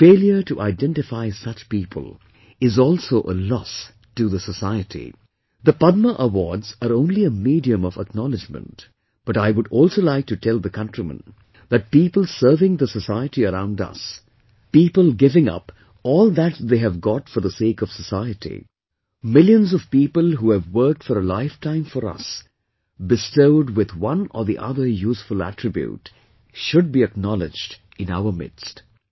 The failure to identify such people is also a loss to the society, the Padma awards are only a medium of acknowledgement, but I would also like to tell the countrymen that people serving the society around us, people giving up all that they have got for the sake of society, millions of people who have worked for a life time for us bestowed with one or the other useful attribute should be acknowledged in our midst